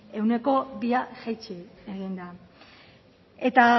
ehuneko bia jaitsi egin da eta